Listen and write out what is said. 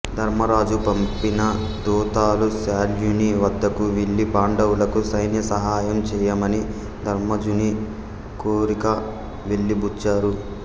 ధర్మరాజు పంపిన దూతలు శల్యుని వద్దకు వెళ్ళి పాండవులకు సైన్య సహాయం చేయమని ధర్మజుని కోరిక వెలిబుచ్చారు